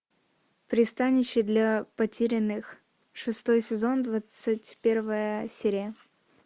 пристанище для потерянных шестой сезон двадцать первая серия